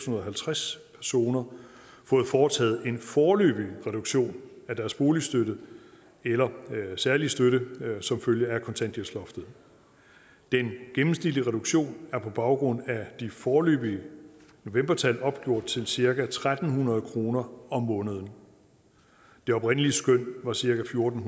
og halvtreds personer fået foretaget en foreløbig reduktion af deres boligstøtte eller særlige støtte som følge af kontanthjælpsloftet den gennemsnitlige reduktion er på baggrund af de foreløbige novembertal opgjort til cirka tre hundrede kroner om måneden det oprindelige skøn var cirka fjorten